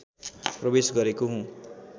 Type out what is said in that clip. प्रवेश गरेको हुँ